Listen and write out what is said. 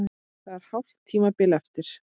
Það er hálft tímabil eftir!